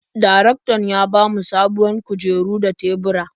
Darektan ya ba mu sabuwar kujeru da tebura.